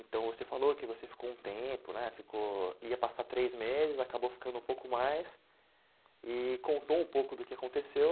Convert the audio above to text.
Então, você falou que você ficou um tempo, né, ficou, ia passar três meses, acabou ficando um pouco mais e contou um pouco do que aconteceu.